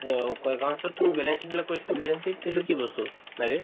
ব কই এইটো কি বস্তু